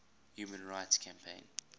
human rights campaign